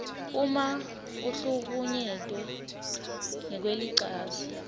uma uhlukunyetwe ngekwelicansi